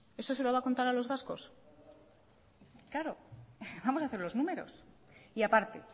eso se lo va a contar a los vascos claro vamos hacer los números y a parte